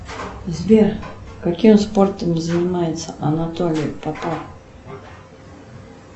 сбер каким спортом занимается анатолий попов